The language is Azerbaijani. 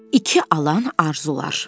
İki aləm arzular.